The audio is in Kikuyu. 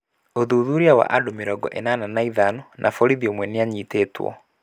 ũthuthuria wa andũ mĩrongo ĩnana na ĩtano na borithi ũmwe nĩanyitĩtwe.